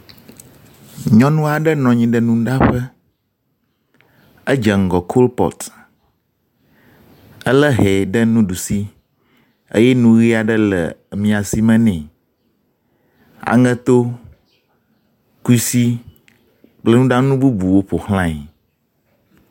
Nyɔnu aɖe nɔ anyi ɖe nuɖaƒe. Edze ŋgɔ kolpɔt ele hɛ ɖe nuɖusi eye nu ʋi aɖe le maisi me nɛ. Aŋeto, kusi kple nuɖanu bubuwo ƒoxlae.